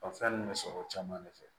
fɛn ninnu bɛ sɔrɔ o caman de fɛ